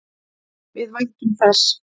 Við væntum þess.